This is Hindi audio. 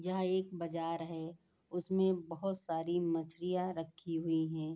यह एक बाजार है उसमें बहुत सारी मछलियाँ रखी हुई है।